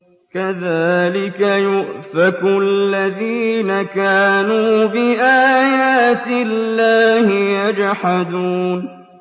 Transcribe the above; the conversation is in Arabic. كَذَٰلِكَ يُؤْفَكُ الَّذِينَ كَانُوا بِآيَاتِ اللَّهِ يَجْحَدُونَ